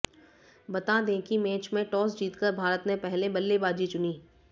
बता दें की मैच में टॉस जीतकर भारत ने पहले बल्लेबाजी चुनी